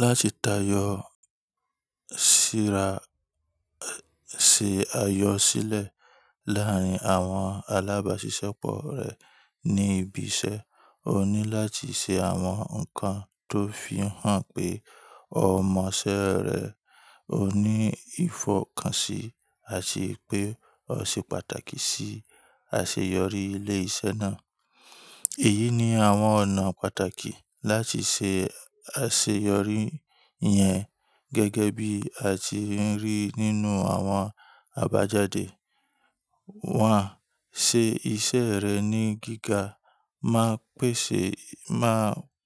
Láti tayọ síra, ṣe ayọ sílẹ̀ láàárín àwọn alábàáṣiṣẹ́pọ̀ rẹ ní ibi iṣẹ́. O ní láti ṣe àwọn nǹkan tó fi hàn pé o mọ ṣẹ́ rẹ, o ní ìfọ̀kànṣí, àti pé o ṣe pàtàkì sí àṣeyọrí ilé iṣẹ́ náà. Èyí ni àwọn ọ̀nà pàtàkì láti ṣe àṣeyọrí yẹn gẹ́gẹ́ bí àti ń rí nínú àwọn àbájáde. Wọ́n a ṣe iṣẹ́ rẹ̀ ní gíga. Má pèsè, má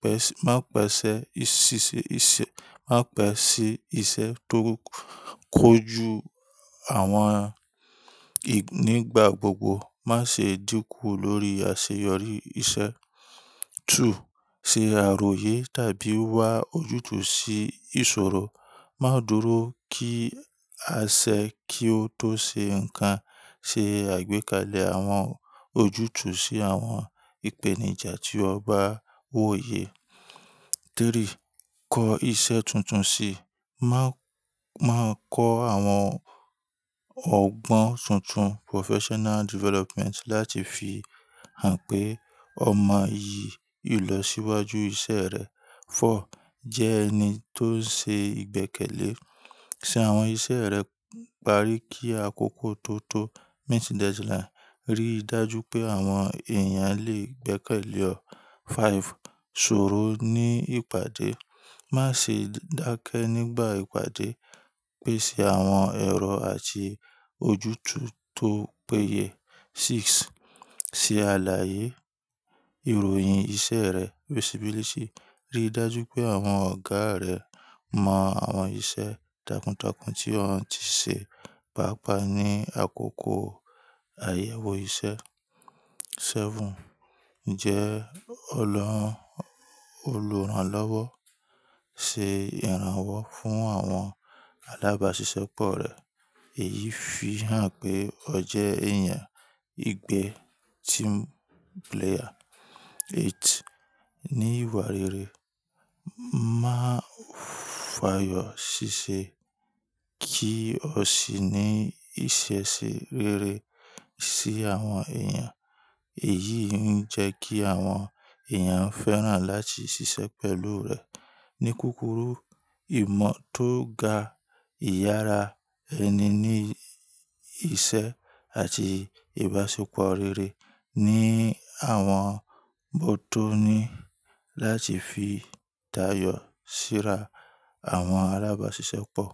pẹ̀, má pẹ̀sẹ̀ ìṣise ise, má pẹ̀si iṣe tó kójú àwọn nígbà gbogbo. Má ṣe dínkù lórí àṣeyọrí iṣẹ́. Se aroye tabi wa oju tu si isoro. Má dúró kí a ṣẹ́ kí ó tó ṣe ǹkan. Se àgbékalẹ̀ àwọn ojútùú sí àwọn ìpèníjà tí o bá wòye. Kọ iṣẹ́ tuntun si. Má, má kọ àwọn ọgbọ́n tuntun professional development láti fi hàn pé o mọ iyì ìlọsíwájú iṣẹ́ rẹ fo. Jẹ́ ẹni tó ń ṣe ìgbẹ́kẹ̀lé. Se awon ise re pari ki akoko to to. Ri daju pe awom eeyan le gbekele o5. Soro ní ìpàdé. Má ṣe dákẹ́ nígbà ìpàdé. Pèsè àwọn èrò àti ojútùú tó péye. 6. Se alaye iroyin ise re bisi bilisi. Rí dájú pé àwọn ọ̀gá rẹ mọ àwọn iṣẹ́ takuntakun tí o ti ṣe, pàápàá ní àkókò àyẹ̀wò iṣẹ́. Jẹ́ olo olùrànlọ́wọ́. Se ìrànwọ́ fún àwọn alábáṣiṣẹ́pọ̀ rẹ. Èyí fi hàn pé o jẹ́ èèyàn ìgbẹ́ team player. Ni ìwà rere. Má fàyọ ṣíṣe. Kí o sì ní ìṣẹ̀ṣe rere sí àwọn èèyàn. Èyí ń jẹ́ kí àwọn èèyàn fẹ́ràn láti ṣiṣẹ́ pẹ̀lú rẹ. Ni kukuru, imo to ga, iyara eni ni ise, ati ibasepo rere ni awon botoni lati fi tayo sira awon alabasisepo.